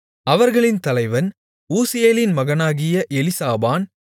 அவர்களின் தலைவன் ஊசியேலின் மகனாகிய எலிசாபான்